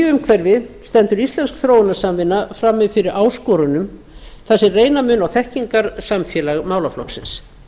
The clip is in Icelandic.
umhverfi stendur íslensk þróunarsamvinna frammi fyrir áskorunum þar sem reyna mun á þekkingarsamfélag málaflokksins